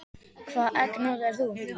Hvaða egg notar þú?